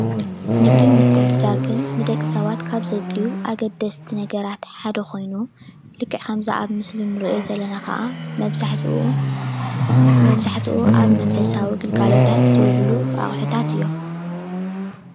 ንግድን ምትዕድዳግን ንደቂ ሰባት ካብ ዘድልዩ ኣገደስቲ ነገራት ሓደ ኮይኑ ልክዕ ከምዚ ኣብ ምስሊ እንሪኦ ዘለና ከዓ መብዛሕትኡ መብዛሕትኡ ኣብ መንፈሰዊ ግልጋሎታት ዝውዕሉ ኣቁሕታት እዮም፡፡